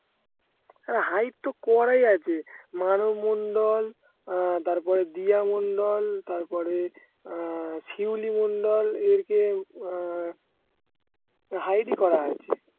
অরে hide তো করাই আছে মানু মণ্ডল আহ তারপরে দিয়া মন্ডল তারপরে আহ শিউলি মন্ডল এরকে উহ hide এই করা আছে